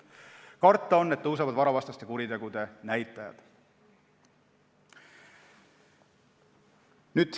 Karta on, et kasvavad varavastaste kuritegude näitajad.